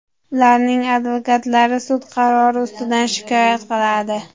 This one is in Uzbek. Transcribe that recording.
Ularning advokatlari sud qarori ustidan shikoyat qiladi.